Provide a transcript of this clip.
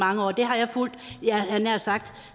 mange år og det har jeg fulgt jeg havde nær sagt